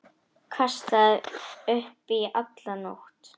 Kastaði upp í alla nótt.